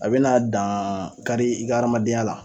A bɛna dan kari i ka adamadenya la.